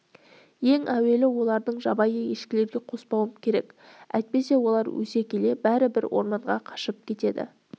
ең әуелі оларды жабайы ешкілерге қоспауым керек әйтпесе олар өсе келе бәрібір орманға қашып кетеді